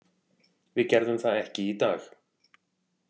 Við gerðum það ekki í dag.